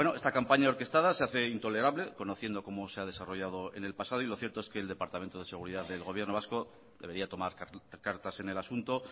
esta campaña orquestada se hace intolerable conociendo como se ha desarrollado en el pasado y lo cierto es que el departamento de seguridad del gobierno vasco debería tomar cartas en el asunto